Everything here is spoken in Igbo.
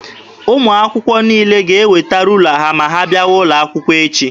Ụmụ akwụkwọ niile ga-eweta ruula ha ma ha bịawa ụlọ akwụkwọ echi.